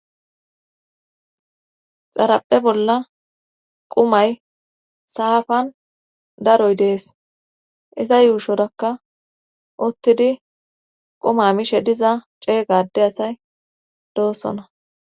Xaraphe bolla qumay saafan daroy dees iza yuushorakka uttidi quma mishe diza ceeygade asay doosona